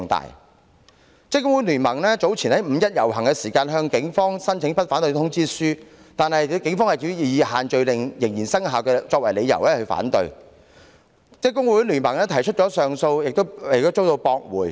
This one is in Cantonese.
香港職工會聯盟早前就五一遊行向警方申請不反對通知書，但警方以限聚令仍然生效為由反對，職工盟雖提出上訴但依然遭駁回。